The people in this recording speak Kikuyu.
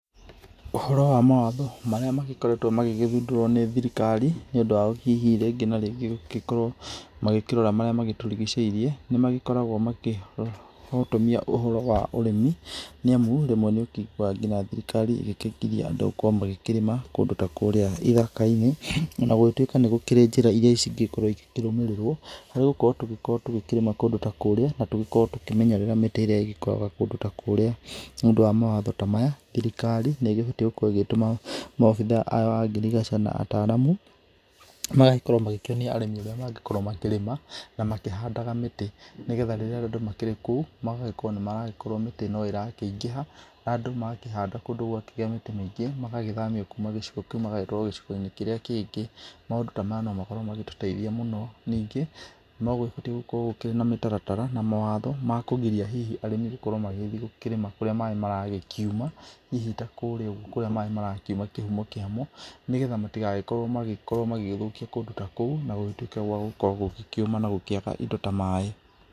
Ũhoro wa mawatho marĩa magĩkoretwo magĩgĩthundũrũo nĩ thirikari, nĩ ũndũ wa hihi rĩngĩ na rĩngĩ gũgĩkorwo magĩkĩrora marĩa magĩtũrigicĩirie, nĩ magĩkoragwo magĩkĩhotomia ũhoro wa ũrĩmi, nĩ amu rĩmwe nĩ ũkĩiguaga nginya thirikari ĩgĩkĩgiria andũ gũkorwo magĩkĩrĩma kũndũ ta kurĩa ithaka-inĩ, ona gũgĩtuĩka nĩ gũkĩrĩ njĩra ingĩ cingĩkorwo cigĩkĩrũmĩrĩrwo, nĩ gũkorwo tũngĩkorwo tũgĩkĩrĩma kũndũ ta kũrĩa, na tũgĩkorwo tũkĩmenyerera mĩtĩ ĩrĩa ĩgĩkoragwo kũndũ ta kũrĩa, nĩ ũndũ wa mawatho ta maya, thirikari nĩ ĩgĩbatiĩ gũkorwo ĩgĩtũma maabithaa a ngirigaca na ataaramu magagĩkorwo magĩkĩonia arĩmi ũrĩa mangĩgĩkorwo makĩrĩma, na makĩhandaga mĩtĩ nĩ getha rĩrĩa andũ makĩrĩ kũu magakorwo nĩ maragĩkorwo mĩtĩ no ĩraĩkĩingĩha, andũ magakĩhanda kũndũ gwakĩgĩa mĩtĩ mĩingĩ, magagĩthamio kuma gĩcigo kĩu magagĩtwarwo gĩcigo-inĩ kĩrĩa kĩngĩ. Maũndũ ta maya no makorwo magĩtũteithia mũno, ningĩ no gũgĩkorwo gũkĩrĩ na mĩtaratara na mawatho ma kũgiria hihi arĩmi gũkorwo magĩthiĩ gũkĩrĩma kũrĩa maaĩ maragĩkiuma, hihi ta kũrĩa ũgũo kũrĩa maaĩ marakiuma kĩhumo kĩamo, nĩ getha matigagĩkorwo magĩkorwo magĩgĩthũkia kũndũ ta kũu na gũgĩtuike gwa gũkorwo gũgĩkĩũma na gũkíĩga indo ta maaĩ.